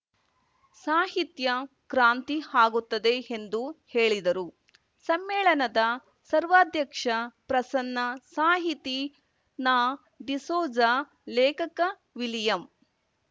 ಸಾಹಿತ್ಯ ಕ್ರಾಂತಿ ಆಗುತ್ತದೆ ಎಂದು ಹೇಳಿದರು ಸಮ್ಮೇಳನದ ಸರ್ವಾಧ್ಯಕ್ಷ ಪ್ರಸನ್ನ ಸಾಹಿತಿ ನಾಡಿಸೋಜ ಲೇಖಕ ವಿಲಿಯಂ